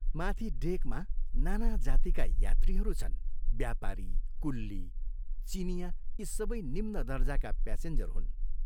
माथि ' डेक ' मा नाना जातिका यात्रीहरू छन् व्यापारी, कुल्ली, चीनियाँ यी सबै निम्न दर्जाका प्यासेञ्जर हुन्।